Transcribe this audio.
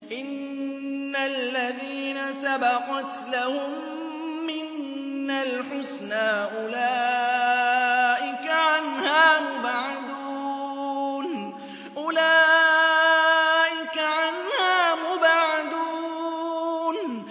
إِنَّ الَّذِينَ سَبَقَتْ لَهُم مِّنَّا الْحُسْنَىٰ أُولَٰئِكَ عَنْهَا مُبْعَدُونَ